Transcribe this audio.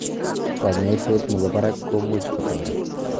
Kanyaiset nebo barak komuch kotaret